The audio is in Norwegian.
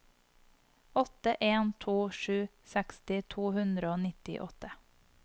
åtte en to sju seksti to hundre og nittiåtte